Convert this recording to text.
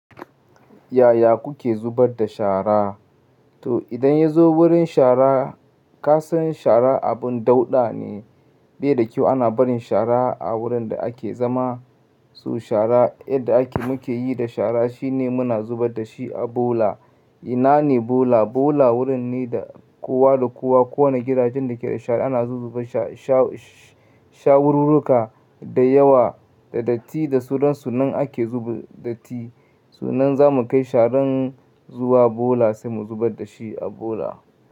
Yaya kuke zubar da shara? To idan ya zo wurin shara, ka san shara abun dauɗa ne, bai da kyau ana barin shara a wurin da ake zama. So shara yadda ake muke yi da shara shine muna zubar da shi a bola. Ina ne bola? Bola wurin ne da kowa da kowa, kowane gidajen da ke da shara ana zubar sha-sha-shawururruka da yawa, da datti, da sunan su nan ake zuba datti. So nan za mu kai sharan zuwa bola sai mu zubar da shi a bola.